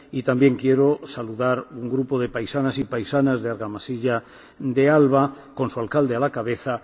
Y también quiero saludar a un grupo de paisanas y paisanos de Argamasilla de Alba, con su alcalde a la cabeza.